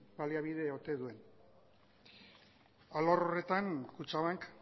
baliabide ote duen alor horretan kutxabank